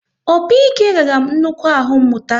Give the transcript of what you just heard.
Opi-ike ghara m nnukwu ahụ mụta